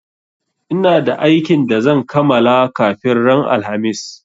Ina da aikin da zan kamala kafin ran alhamis